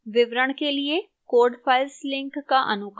विवरण के लिए code files link का अनुकरण करें